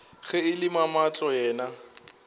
ge e le mamahlo yena